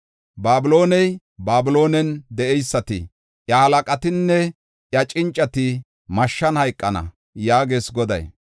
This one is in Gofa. Babilooney, Babiloonen de7eysati, iya halaqatinne iya cincati mashshan hayqana” yaagees Goday.